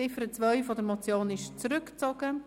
Die Ziffer 2 der Motion wurde zurückgezogen.